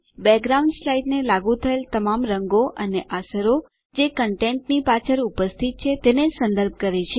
background સ્લાઇડને લાગુ થયેલ તમામ રંગો અને અસરો જે કંટેંટની પાછળ ઉપસ્થિત છે તેને સંદર્ભ કરે છે